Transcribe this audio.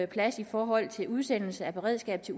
plads i forhold til udsendelse af beredskabet til